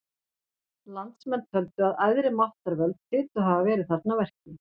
Landsmenn töldu að æðri máttarvöld hlytu að hafa verið þarna að verki.